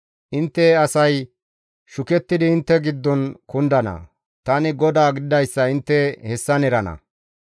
Intte asay shukettidi intte giddon kundana; tani GODAA gididayssa intte hessan erana.